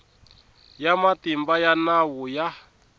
ya matimba ya nawu ya